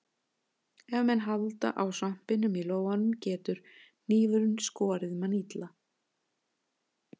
Ef menn halda á svampinum í lófanum getur hnífurinn skorið mann illa.